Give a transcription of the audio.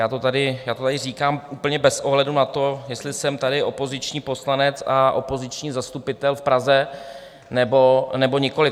Já to tady říkám úplně bez ohledu na to, jestli jsem tady opoziční poslanec a opoziční zastupitel v Praze, nebo nikoli.